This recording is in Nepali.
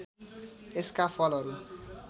यसका फलहरू